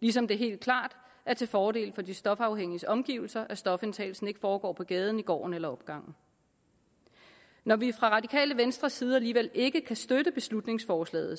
ligesom det helt klart er til fordel for de stofafhængiges omgivelser at stofindtagelsen ikke foregår på gaden i gården eller opgangen når vi fra radikale venstres side alligevel ikke kan støtte beslutningsforslaget